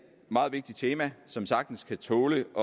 meget vigtigt tema som sagtens kan tåle at